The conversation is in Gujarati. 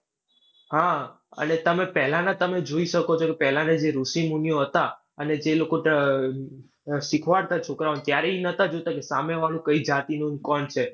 હા, અને તમે પહેલાના તમે જોઈ શકો છો. પહેલાના જે ઋષિમુનિઓ હતા અને જે લોકો આહ શીખવાડતા છોકરાઓને ત્યારે ઈ નતા જોતા કે સામે વાળું કઈ જાતિનું ને કોણ છે?